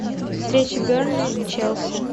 встреча бернли челси